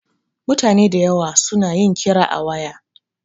Mutane dayawa su na yin kira a waya